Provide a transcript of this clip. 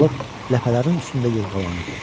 Balıq ləpələrin üstündə yırğalanırdı.